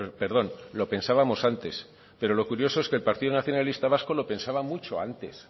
perdón lo pensábamos antes pero lo curioso es que el partido nacionalista vasco lo pensaba mucho antes